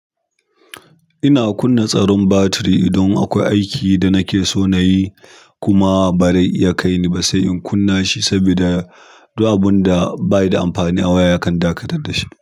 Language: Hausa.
Ina kunna tsaron batiri ida akwai aiki da nake son nayi kuma bare kaini ba sai in kunna shi sabida. Duk abunda bayi da amfani a waya yakan dakatar da shi.